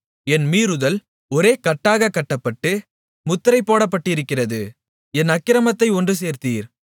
என் மீறுதல் ஒரே கட்டாகக் கட்டப்பட்டு முத்திரைபோடப்பட்டிருக்கிறது என் அக்கிரமத்தை ஒன்று சேர்த்தீர்